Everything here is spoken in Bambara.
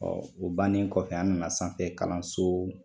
o bannen kɔfɛ an nana sanfɛ kalanso